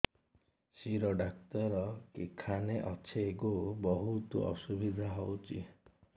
ଶିର doctor କେଖାନେ ଅଛେ ଗୋ ବହୁତ୍ ଅସୁବିଧା ହଉଚି